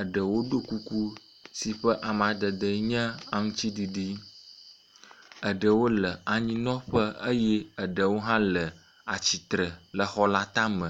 Eɖewo ɖo kuku si ƒe amadede enye aŋuti ɖiɖi. Ɖewo le anyinɔƒe eye eɖewo hã le atsitre le xɔ la tame.